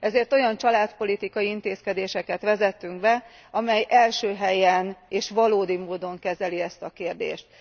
Ezért olyan családpolitikai intézkedéseket vezettünk be, amely első helyen, és valódi módon kezeli ezt a kérdést.